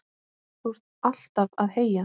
Þú ert alltaf að heyja,